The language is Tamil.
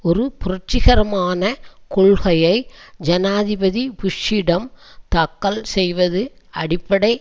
ஒரு புரட்சிகரமான கொள்கையை ஜனாதிபதி புஷ்ஷிடம் தாக்கல் செய்வது அடிப்படை